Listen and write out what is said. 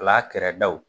Ala kɛra daw